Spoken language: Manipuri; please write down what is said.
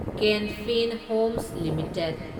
can Fin Homes limited